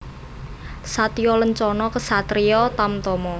Satya Lencana Ksatria Tamtama